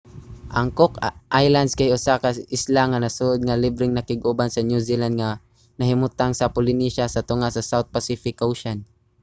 ang cook islands kay usa ka isla nga nasod nga libreng nakig-uban sa new zealand nga nahimutang sa polynesia sa tunga sa south pacific ocean